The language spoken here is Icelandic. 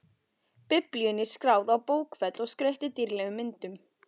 Biblíunni skráð á bókfell og skreytt dýrlegum myndum.